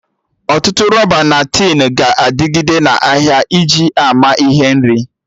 Ọtụtụ rọba na tin ga-adịgide na ahịa iji ama ihe nri